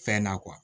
Fɛn na